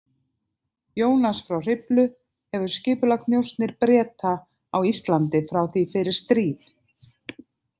Jónas frá Hriflu hefur skipulagt njósnir Breta á Íslandi frá því fyrir stríð.